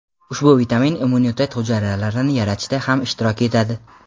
Ushbu vitamin immunitet hujayralarini yaratishda ham ishtirok yetadi.